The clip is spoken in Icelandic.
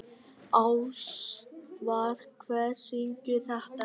Ástvar, hver syngur þetta lag?